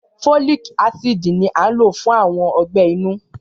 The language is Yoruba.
Fólìk ácìdì ni a n ló fún àwọn ọgbẹ́ inú